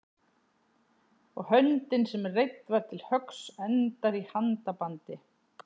og höndin sem reidd var til höggs endar í handabandi.